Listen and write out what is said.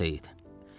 Ağas Seyid.